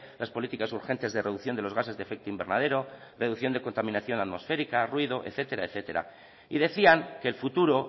las políticas urgentes de reducción de los gases de efecto invernadero reducción de contaminación atmosférica ruido etcétera etcétera y decían que el futuro